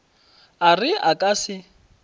a re a ka se